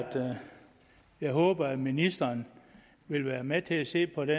jeg håber at ministeren vil være med til at se på det